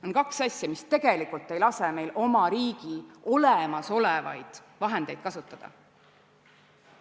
On kaks asja, mis tegelikult ei lase meil oma riigi olemasolevaid vahendeid kasutada.